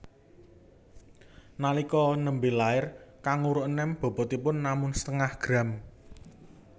Nalika nembé lair kanguru enèm bobotipun namung setengah gram